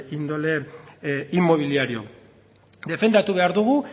índole inmobiliario defendatu behar dugu